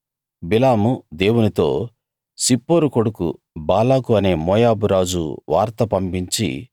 బిలాము దేవునితో సిప్పోరు కొడుకు బాలాకు అనే మోయాబు రాజు వార్త పంపించి